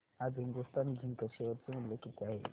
आज Hindustan zinc share चे मूल्य किती आहे